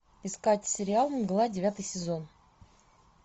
искать сериал мгла девятый сезон